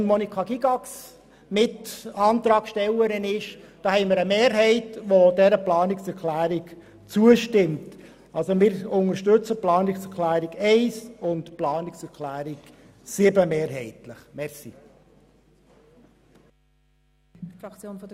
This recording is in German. Der Planungserklärung 7, deren Miterklärerin unsere Monika Gygax ist, stimmt eine Mehrheit der BDP-Fraktion zu.